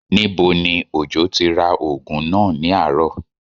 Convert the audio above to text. Níbo ni Òjó ti ra oògùn náà ní àárọ̀?